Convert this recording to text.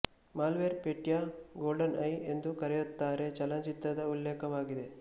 malware Petya GoldenEye ಎಂದೂ ಕರೆಯುತ್ತಾರೆ ಚಲನಚಿತ್ರದ ಉಲ್ಲೇಖವಾಗಿದೆ